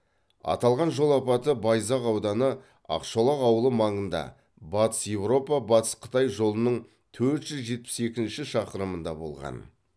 аталған жол апаты байзақ ауданы ақшолақ ауылы маңында батыс еуропа батыс қытай жолының төрт жүз жетпіс екінші шақырымында болған